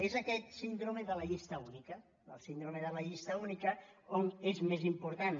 és aquesta síndrome de la llista única la síndrome de la llista única on és més important